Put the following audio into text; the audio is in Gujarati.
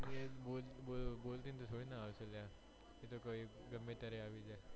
એજ બોલી ને થોડી આવે અલ્યા એતો ગમે ત્યરે આવી જાય